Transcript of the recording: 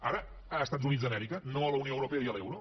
ara als estats units d’amèrica no a la unió europea i a l’euro